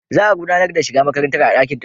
Za a gudanar da shiga makarantar a dakin taro.